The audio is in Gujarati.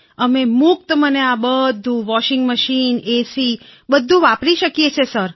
અમે મુક્ત મને આ બધું વૉશિંગ મશીન છે એસી છે બધું વાપરી શકીએ છીએ સર